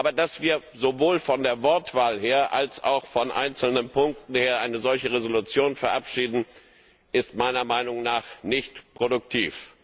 Aber dass wir sowohl von der Wortwahl her als auch von einzelnen Punkten her eine solche Entschließung verabschieden, ist meiner Meinung nach nicht produktiv.